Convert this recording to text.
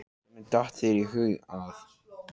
Hvernig datt þér í hug að?